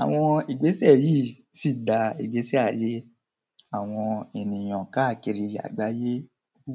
Àwọn ìgbésẹ̀ sì da ìgbésẹ̀ ayé àwọn ènìyàn káàkiri ayé rú.